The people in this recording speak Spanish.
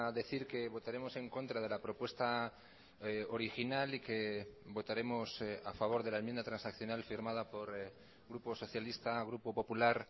decir que votaremos en contra de la propuesta original y que votaremos a favor de la enmienda transaccional firmada por grupo socialista grupo popular